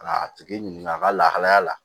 Ka a tigi ɲininka a ka lahalaya la